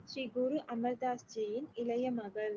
ஸ்ரீ குரு அமர்தாஸ் ஜியின் இளைய மகள்